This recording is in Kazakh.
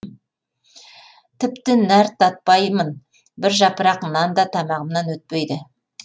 тіпті нәр татпаймын бір жапырақ нан да тамағымнан өтпейді